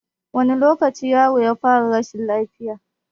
Wane lokaci yaron ya fara rashin lafiya?